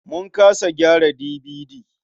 Mun kasa gyara DVD.